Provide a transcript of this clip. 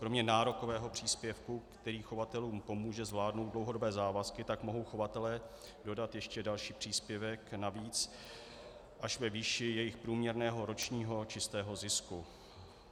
Kromě nárokového příspěvku, který chovatelům pomůže zvládnout dlouhodobé závazky, tak mohou chovatelé dodat ještě další příspěvek navíc až ve výši jejich průměrného ročního čistého zisku.